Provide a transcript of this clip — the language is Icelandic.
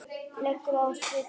legur á svip.